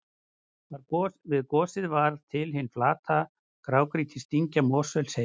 Við gosið varð til hin flata grágrýtisdyngja Mosfellsheiði.